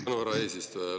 Tänan, härra eesistuja!